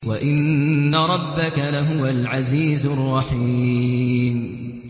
وَإِنَّ رَبَّكَ لَهُوَ الْعَزِيزُ الرَّحِيمُ